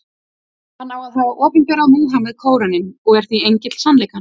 Hann á að hafa opinberað Múhameð Kóraninn, og er því engill sannleikans.